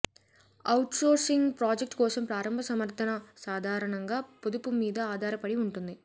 outsourcing project కోసం ప్రారంభ సమర్థన సాధారణంగా పొదుపు మీద ఆధారపడి ఉంటుంది